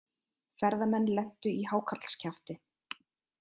Ferðamenn lentu í hákarlskjafti